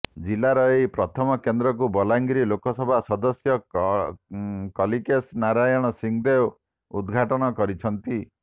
ଜିଲ୍ଲାର ଏହି ପ୍ରଥମ କେନ୍ଦ୍ରକୁ ବଲାଙ୍ଗୀର ଲୋକସଭା ସଦସ୍ୟ କଲିକେଶ ନାରାୟଣ ସିଂହଦେଓ ଉଦଘାଟନ କରିଛନ୍ତି